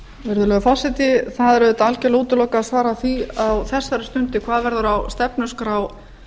virðulegi forseti það er auðvitað algjörlega útilokað að svara því á þessari stundu hvað verður á stefnuskrá